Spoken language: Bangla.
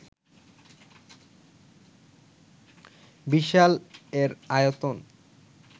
বিশাল এর আয়তন